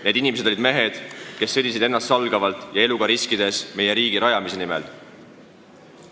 Need inimesed olid mehed, kes sõdisid ennastsalgavalt ja eluga riskides meie riigi rajamise nimel.